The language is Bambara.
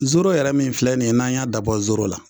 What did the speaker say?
Zoro yɛrɛ min filɛ nin ye n'an y'a dabɔ zoro la